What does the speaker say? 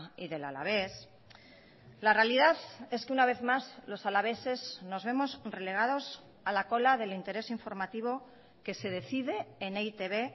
y del alavés la realidad es que una vez más los alaveses nos vemos relegados a la cola del interés informativo que se decide en e i te be